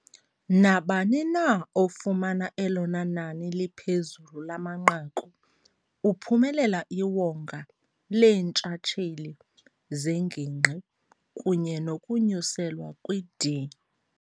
Nabani na ofumana elona nani liphezulu lamanqaku uphumelela iwonga leentshatsheli zeNgingqi kunye nokunyuselwa kwi-D.